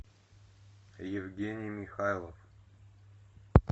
евгений михайлов